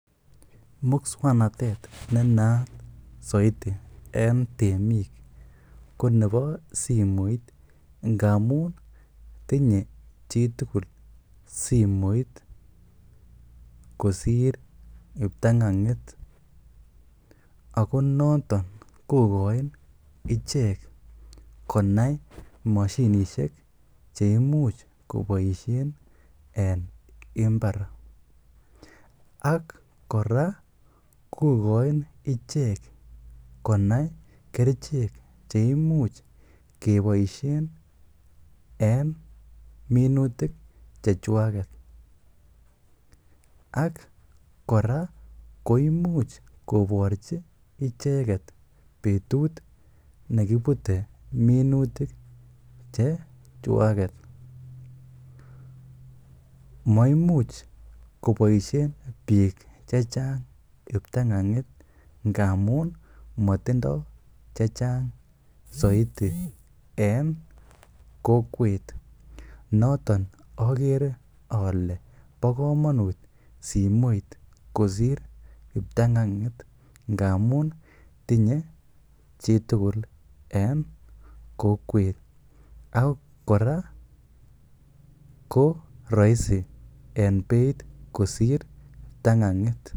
Muswoknatet ne naat soiti en temik ko nebo simoit ngamun tinye chitugul simoit kosir kiptang'ang'it ago noton kogoin ichek konai moshinishek che imuch koboisien en mbar. Ak kora kogoin ichek konai kerichek che imuch keboisien en minutik chechwaget. Ak kora koimuch kogochi icheget betut ne kibute minutik chechwaget. Maimuch koboisien biik che chang kiptang'ang'it ngamun motindo che chang soiti en kokwet. Noton ogere ole bo komonut simoit kosir kiptang'ang'it ngamun tinye chitugul en kokwet ak kora ko roisi en beit kosir kiptang'ang'it.